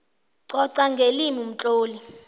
coca ngelimi umtloli